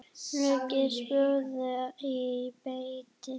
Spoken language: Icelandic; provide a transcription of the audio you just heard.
Leggið spjót í bleyti.